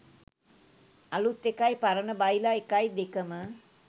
අලුත් එකයි පරණ බයිලා එකයි දෙකම.